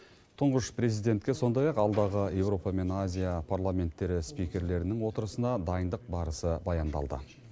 тұңғыш президентке сондай ақ алдағы еуропа мен азия парламенттері спикерлерінің отырысына дайындық барысы баяндалды